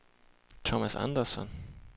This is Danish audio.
Thomas Andersson